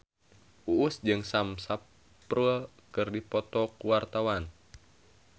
Uus jeung Sam Spruell keur dipoto ku wartawan